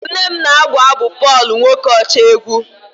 nne m na-abụ abụ Pọl nwokocha egwu